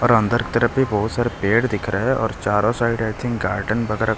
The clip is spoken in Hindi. और अंदर की तरफ भी बहुत सारे पेड़ दिख रहा है और चारों साइड आई थिंक गार्डन वगैरह --